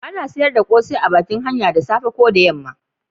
A na sayar da kosai a bakin hanya da safe ko yamma